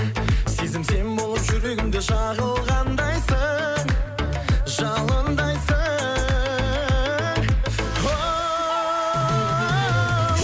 сезім сен болып жүрегімде жағылғандайсың жалындайсың хоу